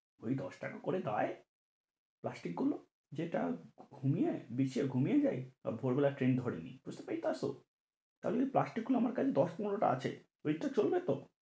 ওই দশ টাকা করে দেয় প্লাস্টিক গুলো যে টা ঘুমিয়ে বিছিয়ে ঘুমিয়ে যাই তো আবার ভোর বেলা train ধরে নিই বুঝতে পরেছো তো তা হলে প্লাষ্টিক গুলো আমার কাছে দশ-পনেরো টা আছে ওই টা চলবে তো?